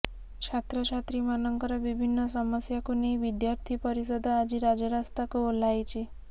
ଛାତ୍ର ଛାତ୍ରୀ ମାନଙ୍କର ବିଭିନ୍ନ ସମସ୍ୟାକୁ ନେଇ ବିଦ୍ୟାର୍ଥୀ ପରିଷଦ ଆଜି ରାଜରାସ୍ତାକୁ ଓହ୍ଲାଇଛି